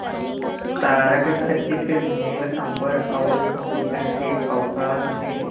तारकखचित नील अंबर और समुद्र के अवकाश में